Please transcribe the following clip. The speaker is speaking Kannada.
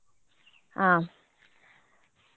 ಹಾ.